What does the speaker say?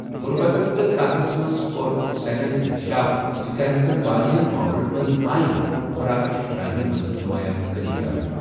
غُربتس تہٕ قحطس منز ،كو٘ر سینن انکشاف زِ قحط کین وارِیاہن مٰعملن منز آیہ نہٕ خوراکٕچ فراہمی منز نمایاں کمی كرنہٕ ۔